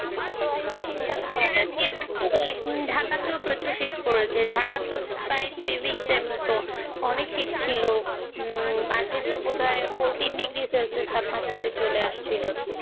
ঢাকা তো প্রচুর শীত পড়েছে ঢাকা তো প্রায় অনেক সিট ছিল মাঝে তো বোধহয় Fortin degree Celsius তাপমাত্রা চলে এসেছিল